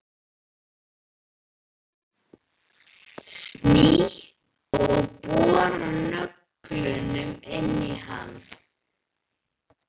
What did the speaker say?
Sný og bora nöglunum inn í hann.